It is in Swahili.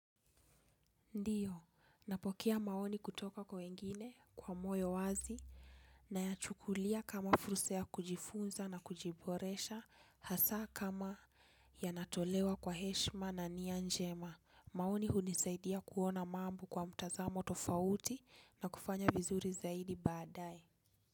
Ndiyo, napokea maoni kutoka kwa wengine, kwa moyo wazi, na yachukulia kama furusa kujifunza na kujiboresha, hasa kama yanatolewa kwa heshima na nianjema, maoni hunisaidia kuona mambo kwa mtazamo tofauti na kufanya vizuri zaidi badae.